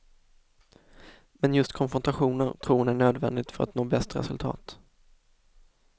Men just konfrontationer tror hon är nödvändigt för att nå bäst resultat.